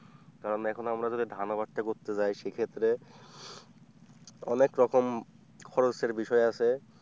কারণ এখন আমরা যদি ধান আবাদ টা করতে যাই সেক্ষেত্রে অনেক রকম খরচের বিষয় আছে।